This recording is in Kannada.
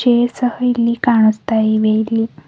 ಏರ್ ಸಹ ಕಾಣಸ್ತಾ ಇವೆ ಇಲ್ಲಿ--